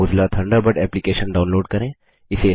Mozilla Thunderbird application download करें